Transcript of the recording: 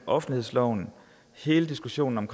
offentlighedsloven hele diskussionen om